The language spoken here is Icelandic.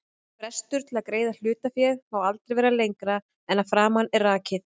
Ölkeldur eru kaldar eða rétt volgar, yfirleitt bragðvondar vegna járns sem kolsýran leysir upp.